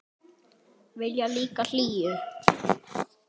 Vilja líka hlýju.